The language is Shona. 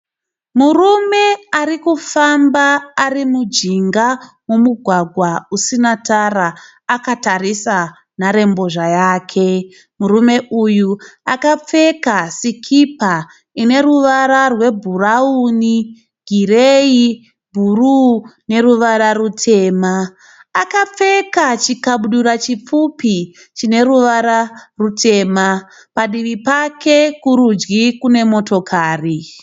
Murume arikufamba ari mujinga momugwagwa usina tara akatarisa nharembozha yake. Murume uyu akapfeka sikipa ine ruvara rwebhurawuni, gireyi, bhuruu neruvara rutema. Akapfeka chikabudura chipfupi chine ruvara rutema, padivi pake kurudyi kune motokari